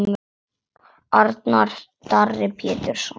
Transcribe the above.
Arnar Darri Péturs.